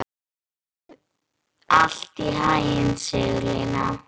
Gangi þér allt í haginn, Sigurlína.